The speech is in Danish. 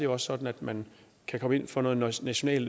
også sådan at man kan komme for noget national